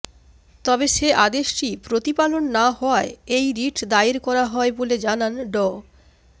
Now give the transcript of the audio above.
তবে সে আদেশটি প্রতিপালন না হওয়ায় এই রিট দায়ের করা হয় বলে জানান ড